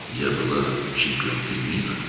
Mən dünya çempionu idim,